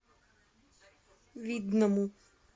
видному